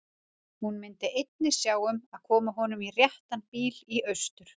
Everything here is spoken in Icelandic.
Hún myndi einnig sjá um að koma honum í réttan bíl austur.